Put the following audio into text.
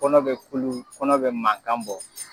Kɔnɔ be kulu kɔnɔ be mankan bɔ